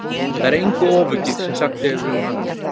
Það er engu ofaukið sem sagt hefur verið um hana.